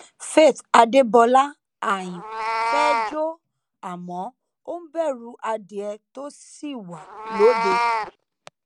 faith adébọlá aáyán fẹẹ jó àmọ ó ń bẹrù adìẹ tó ṣì wà lóde